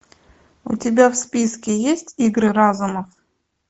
у тебя в списке есть игры разума